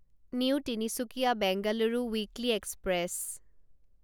new Tinsukia Bengaluru weekly express